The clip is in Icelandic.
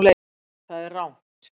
Það er rangt